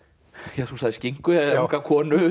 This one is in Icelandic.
ja þú sagðir skinku unga konu